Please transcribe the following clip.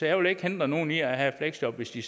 jeg vil ikke hindre nogen i at have et fleksjob hvis de